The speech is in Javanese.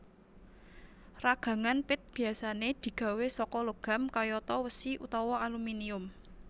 Ragangan pit biasané digawé saka logam kayata wesi utawa aluminium